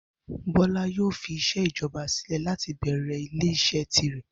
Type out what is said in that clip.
Bó̩lá yóò fi is̩é̩ ìjo̩ba sílè̩ láti bè̩rè̩ ilé is̩é̩ tirè̩